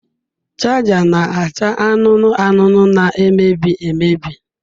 Chaja na-acha anụnụ anụnụ na-emebi emebi.